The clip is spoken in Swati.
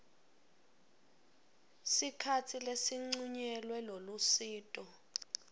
sikhatsi lesincunyelwe lolusito